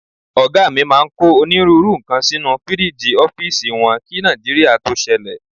Ọ̀gá mi máa ń kó onírúurú nǹkan sínú fíríìgì ọ́fíìsì wọn kí Nàìjíríà tó ṣẹlẹ̀.